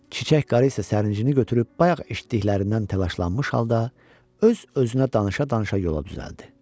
Çiçək qarı isə sərinçini götürüb bayaq eşitdiklərindən təlaşlanmış halda öz-özünə danışa-danışa yola düzəldi.